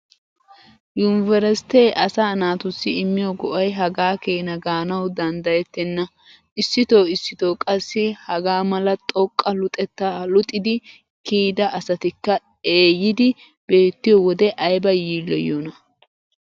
Yunveresttee asaa naatussi immiyo go"ay hagaa keena gaanawu danddayettenna. Issitoo issitoo qassi hagaa mala xoqqa luxettaa luxidi kiyida asatikka eeyidi beettiyo wode ayba yiilloyiyoonaa!